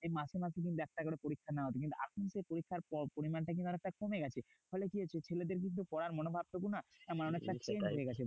মাসে মাসে কিন্তু একটা করে পরীক্ষা নেওয়া হতো। কিন্তু এখন যে পরীক্ষার পরিমাণটা কিন্তু অনেকটা কমে গেছে। ফলে কি হচ্ছে? ছেলেদের কিন্তু পড়ার মনোভাবটুকু না মানে অনেকটা change হয়ে গেছে।